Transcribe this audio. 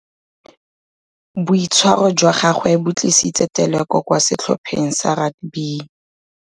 Boitshwarô jwa gagwe bo tlisitse têlêkô kwa setlhopheng sa rakabii.